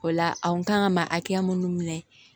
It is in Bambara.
O la a kun kan ka ma hakɛya mun minɛ